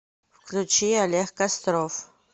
включи олег костров